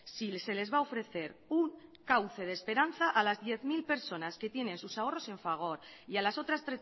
si se les va a ofrecer un cauce de esperanza a las diez mil personas que tienen sus ahorros en fagor y a las otras